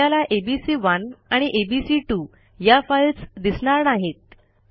आपल्याला एबीसी1 आणि एबीसी2 या फाईल्स दिसणार नाहीत